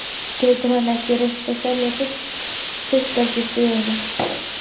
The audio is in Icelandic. Getur hann ekki reynt að selja fiskeldisstöðina?